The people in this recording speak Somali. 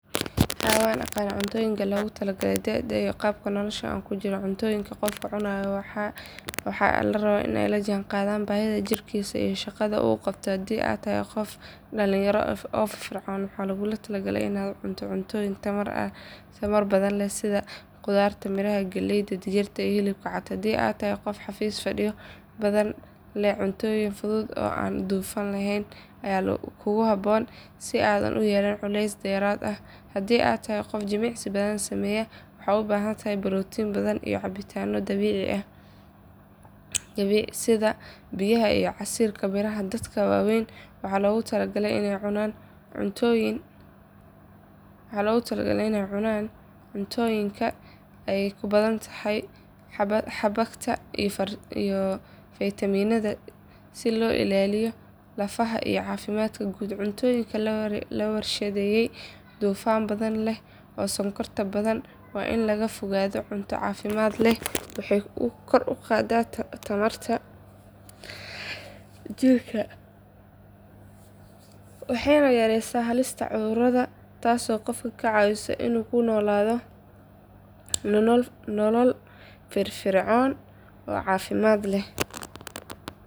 Haa waan aqaan cuntooyinka lagula taliyo da’da iyo qaabka nolosha aan ku jiro cuntooyinka qofku cunayo waa in ay la jaanqaadaan baahida jirkiisa iyo shaqada uu qabto haddii aad tahay qof da’ dhallinyaro ah oo firfircoon waxaa lagula talinayaa inaad cunto cuntooyin tamar badan leh sida khudaar miraha galleyda digirta iyo hilibka cad haddii aad tahay qof xafiis fadhiyo badan leh cuntooyinka fudud oo aan dufan badan lahayn ayaa kugu habboon si aadan u yeelan culays dheeraad ah haddii aad tahay qof jimicsi badan sameeya waxaad u baahan tahay borotiin badan iyo cabbitaanno dabiici ah sida biyaha iyo casiirka miraha dadka waaweyna waxaa lagula taliyaa inay cunaan cuntooyinka ay ku badan tahay xabagta iyo faytamiinnada si loo ilaaliyo lafaha iyo caafimaadka guud cuntooyinka la warshadeeyay dufanka badan leh iyo sonkorta badan waa in laga fogaadaa cunto caafimaad leh waxay kor u qaaddaa tamarta jidhka waxayna yareysaa halista cudurrada taasoo qofka ka caawinaysa inuu ku noolaado nolol firfircoon oo caafimaad leh.